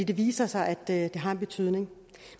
det viser sig at det har en betydning